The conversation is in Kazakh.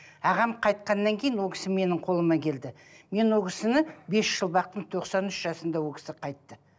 ағам қайтқаннан кейін ол кісі менің қолыма келді мен ол кісіні бес жыл бақтым тоқсан үш жасында ол кісі қайтты